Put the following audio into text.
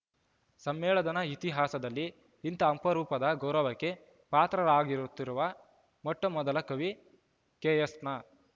ಸಮ್ಮೆಳನದ ಇತಿಹಾಸದಲ್ಲಿ ಇಂಥ ಅಪರೂಪದ ಗೌರವಕ್ಕೆ ಪಾತ್ರರಾಗುತ್ತಿರುವ ಮೊಟ್ಟಮೊದಲ ಕವಿ ಕೆಎಸ್‌ನ